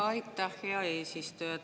Aitäh, hea eesistuja!